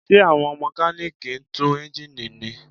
Ṣé àwọn Mẹkáníìkì ń tú eńjíìnì ni?